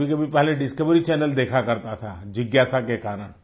कभीकभी पहले Discovery channel देखा करता था जिज्ञासा के कारण